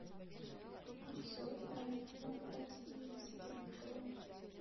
обзор на айфон одиннадцатый про